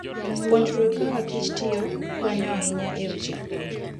Puonjruok kakakich tiyo konyo ahinya e weche pur.